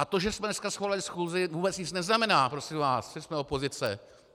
A to, že jsme dneska svolali schůzi, vůbec nic neznamená, prosím vás, že jsme opozice.